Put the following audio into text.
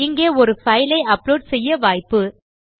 இங்கே ஒரு பைலை அப்லோட் செய்ய வாய்ப்பு